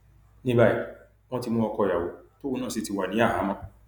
ní báyìí wọn ti mú ọkọ ìyàwó tóun náà sì ti wà ní àhámọ